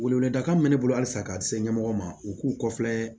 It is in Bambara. Weleweledakan bɛ ne bolo halisa k'a se ɲɛmɔgɔ ma u k'u kɔfilɛ